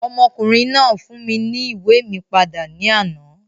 Ọmọkùnrin náà fún mi ní ìwé mi padà ní àná.